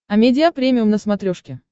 амедиа премиум на смотрешке